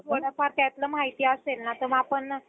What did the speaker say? थोडफार त्यातलं माहिती असेल ना त आपण